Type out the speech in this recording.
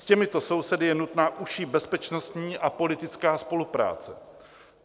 S těmito sousedy je nutná užší bezpečnostní a politická spolupráce.